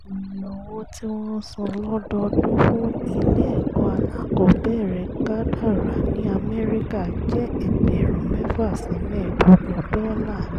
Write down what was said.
iye owó tí wọ́n ń san lọ́dọọdún fún ilé ẹ̀kọ́ alákọ̀ọ́bẹ̀rẹ̀ kádàrá ní amẹ́ríkà jẹ́ ẹgbẹ̀rún mẹ́fà sí mẹ́ẹ̀ẹ́dógún dọ́là